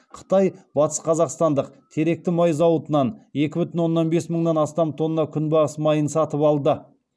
қытай батысқазақстандық теректі май зауытынан екі бүтін оннан бес мыңнан астам тонна күнбағыс майын сатып алды